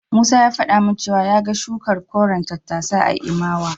Musa ya faɗa min cewa ya ga shukar koren tattasai a Imawa.